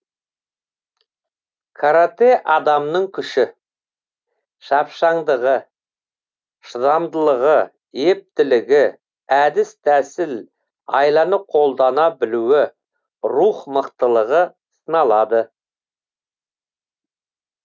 каратэ адамның күші шапшаңдығы шыдамдылығы ептілігі әдіс тәсіл айланы қолдана білуі рух мықтылығы сыналады